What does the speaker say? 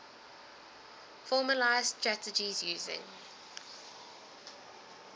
formalised strategies using